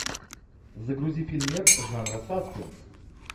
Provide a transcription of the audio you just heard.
загрузи фильмец жанра саспенс